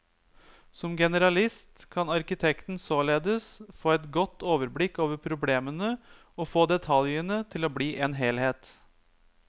Som generalist kan arkitekten således få et godt overblikk over problemene og få detaljene til å bli en helhet.